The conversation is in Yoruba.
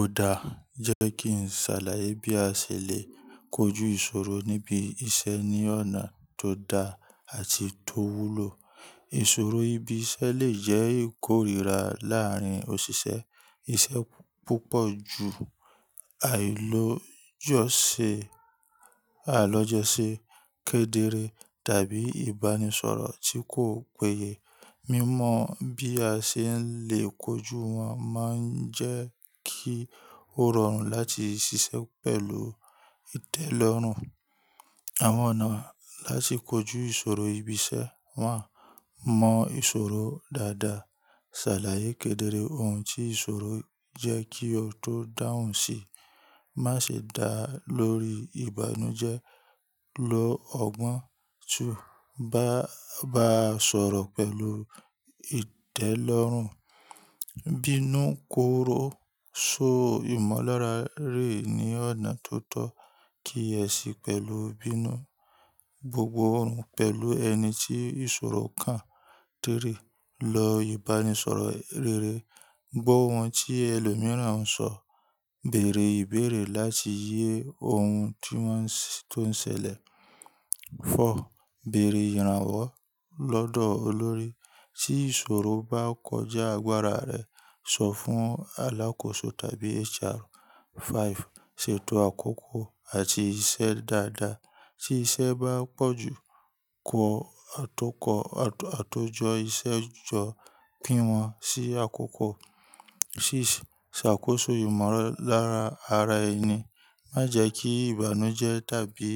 Òdà jẹ́ kí n ṣàlàyé bí a ṣe lè kojú ìṣòro níbi iṣẹ́ ní ọ̀nà tó da àti tó wúlò. Ìṣòro ibi iṣẹ́ lè jẹ́ ìkórìíra láàárín òṣìṣẹ́, iṣẹ́ púpọ̀ ju àilòyọ́ ṣe, àlọ́jọ́ ṣe, kedere tàbí ìbánisọ̀rọ̀ tí kò péye. Mímọ̀ bí a ṣe lè kojú wọn máa ń jẹ́ kí ó rọrùn láti ṣiṣẹ́ pẹ̀lú ìtẹ́lọ́rùn. Àwọn ọ̀nà láti kojú ìṣòro ibi iṣẹ́ one mọ ìṣòro dáadáa, ṣàlàyé kedere ohun tí ìṣòro jẹ́ kí o tó dáhùn síi, má ṣe dá lórí ìbànújẹ́, lo ọ̀gbọn, two, bá a sọ̀rọ̀ pẹ̀lú ìtẹ́lọ́rùn, bínú kóró so ìmọ̀lára rí ní ọ̀nà tó tọ́ kí ẹ sì pẹ̀lú bínú, gbogbo ohun pẹ̀lú ẹni tí ìṣòro kan three, lo ìbánisọ̀rọ̀ rere, gbọ́ ohun tí ẹlòmíràn ń sọ, bèèrè ìbéèrè láti yé ohun tí wọ́n ń ṣe tó ń ṣẹlẹ̀. four, bèèrè ìrànwọ́ lọ́dọ̀ olórí tí ìṣòro bá kọjá agbára rẹ, sọ fún alákòóso tàbí HR. five, ṣètò àkókò àti iṣẹ́ dáadáa tí iṣẹ́ bá pọ̀ jù, kọ àtọ́kọ̀ àtòjọ́ iṣẹ́ jọ, pín wọn sí àkókò. six, ṣàkóso ìmọ̀lára ara ẹni, má jẹ́ kí ìbànújẹ́ tàbí